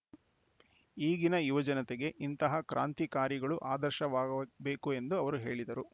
ಈಗಿನ ಯುವ ಜನತೆಗೆ ಇಂತಹ ಕ್ರಾಂತಿಕಾರಿಗಳು ಆದರ್ಶ ವಾ ಗಬೇಕು ಎಂದು ಅವರು ಹೇಳಿದರು